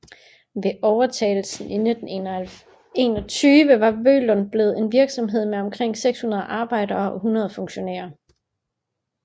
Ved overtagelsen i 1921 var Vølund blevet en virksomhed med omkring 600 arbejdere og 100 funktionærer